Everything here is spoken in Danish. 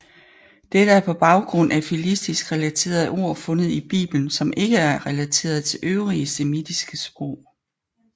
Dette er på baggrund af filistisk relaterede ord fundet i biblen som ikke er relateret til øvrige semitiske sprog